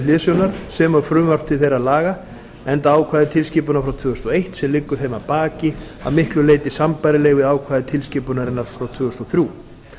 hliðsjónar sem og frumvarp til þeirra laga enda ákvæði tilskipunarinnar frá tvö þúsund og eitt sem liggur þeim að baki að miklu leyti sambærileg við ákvæði tilskipunarinnar frá tvö þúsund og þrjú